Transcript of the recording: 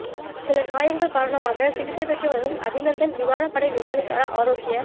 சில காயங்கள் காரணமாக சிகிச்சை பெற்று வரும் அபிநந்தன் விமானப்படை விமானிக்கான ஆரோக்கிய